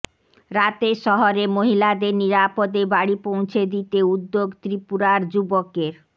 রাতের শহরে মহিলাদের নিরাপদে বাড়ি পৌঁছে দিতে উদ্যোগ ত্রিপুরার যুবকের